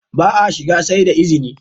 Ba a shiga sai da izini!